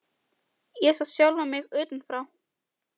Ég sá sjálfa mig utan frá.